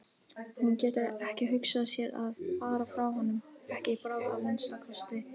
Hún getur ekki hugsað sér að fara frá honum, ekki í bráð að minnsta kosti.